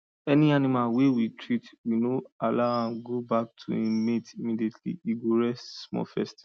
any animal wey we treat we no allow am go back to im mates immediately e go rest small first